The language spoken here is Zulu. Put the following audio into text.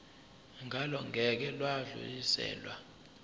ngalo ngeke lwadluliselwa